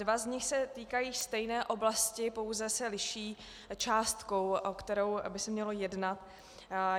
Dva z nich se týkají stejné oblasti, pouze se liší částkou, o kterou by se mělo jednat.